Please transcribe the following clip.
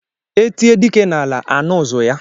E tie dike n'ala, a nụ ụ̀zụ̀ ya.